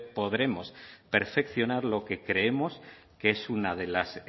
podremos perfeccionar lo que creemos que es una de las